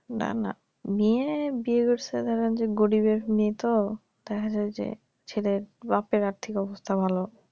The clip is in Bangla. না না মেয়ে বিয়ে করছে ধর যে গরিবের মেয়ে তো দেখা যায় যে ছেলের বাপের আর্থিক অবস্থা ভালো